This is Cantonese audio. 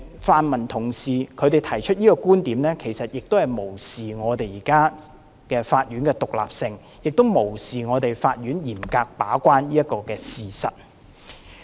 泛民同事提出這個觀點，是無視法院的獨立性，亦無視法院嚴格把關這個事實。